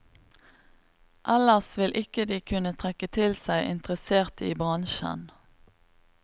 Ellers vil ikke de kunne trekke til seg interesserte i bransjen.